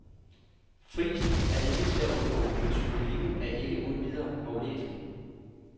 Frisen er ikke til at undgå, men symbolikken er ikke uden videre aflæselig.